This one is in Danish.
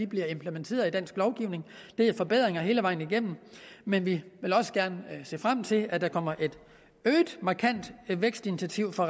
bliver implementeret i dansk lovgivning det er forbedringer hele vejen igennem men vi vil også gerne se frem til at der kommer et øget markant vækstinitiativ fra